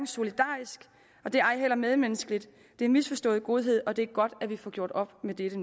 solidarisk og det er ej heller medmenneskeligt det er misforstået godhed og det er godt at vi nu får gjort op med dette